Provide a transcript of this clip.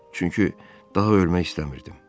Çünki daha ölmək istəmirdim.